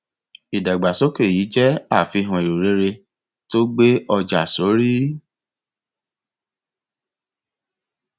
ìdàgbàsókè yìí jẹ àfihàn erò rere tó gbé ọjà sórí